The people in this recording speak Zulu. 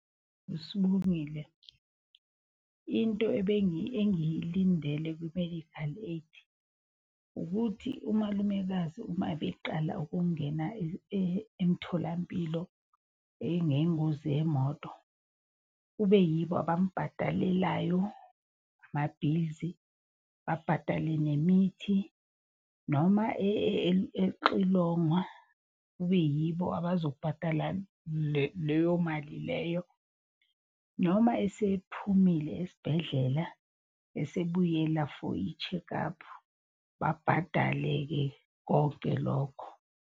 Sibongile, into engiyilindele ku-medical aid ukuthi umalumekazi uma beqala ukungena emtholampilo ngengozi yemoto. Kube yibo abambhadalelayo ama-bills, babhadale nemithi, noma exilongwa kube yibo abazobhadala leyo mali leyo. Noma esephumile esibhedlela esebuyela for i-check-up babhadale-ke konke lokho.